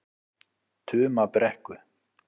Tumabrekku